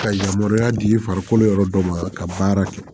Ka yamaruya di farikolo yɔrɔ dɔ ma ka baara kɛ